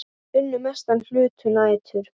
Unnu mestan hluta nætur.